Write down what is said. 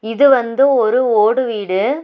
இது வந்து ஒரு ஓடு வீடு.